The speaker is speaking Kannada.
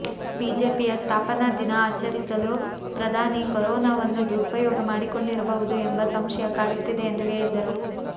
ಬಿಜೆಪಿಯ ಸ್ಥಾಪನಾ ದಿನ ಆಚರಿಸಲು ಪ್ರಧಾನಿ ಕೊರೊನಾವನ್ನು ದುರುಪಯೋಗ ಮಾಡಿಕೊಂಡಿರಬಹುದು ಎಂಬ ಸಂಶಯ ಕಾಡುತ್ತಿದೆ ಎಂದು ಹೇಳಿದರು